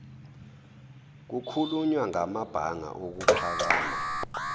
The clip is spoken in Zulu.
kukhulunywa ngamabanga okuphakama